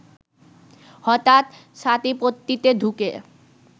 হঠাৎ ছাতিপট্টিতে ঢুকে